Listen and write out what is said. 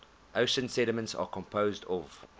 ocean sediments are composed of